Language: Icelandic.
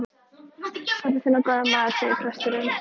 Pabbi þinn var góður maður, segir presturinn.